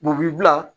U b'i bila